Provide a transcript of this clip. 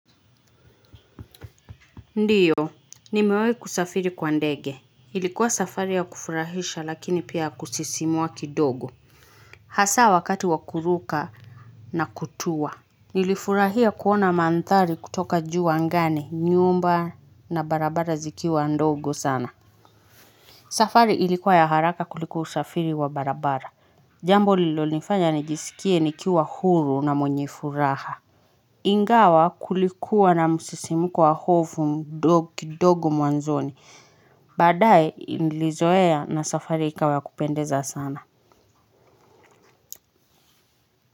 Ndiyo, nimewahi kusafiri kwa ndege. Ilikuwa safari ya kufurahisha lakini pia ya kusisimua kidogo. Hasa wakati wa kuruka na kutua. Nilifurahia kuona mandhari kutoka juu angani, nyumba na barabara zikiwa ndogo sana. Safari ilikuwa ya haraka kuliko usafiri wa barabara. Jambo lililonifanya nijisikie nikiwa huru na mwenye furaha. Ingawa kulikuwa na msisimko wa hofu kidogu mwanzoni, badaye nilizoea na safari ikawa ya kupendeza sana.